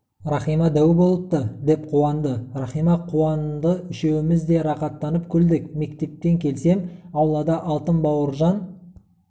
иахима дәу болыпты деп қуланды рахима қуанды үшеуіміз де рақаттанып күлдік мектептен келсем аулада алтын бауыржан